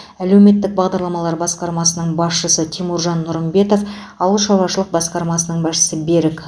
әлеуметтік бағдарламалар басқармасының басшысы тимуржан нұрымбетов ауылшаруашылық басқармасының басшысы берік